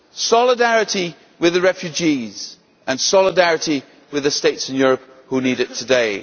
solidarity with the refugees and solidarity with the States in Europe who need it today.